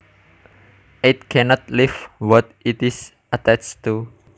It cannot leave what it is attached too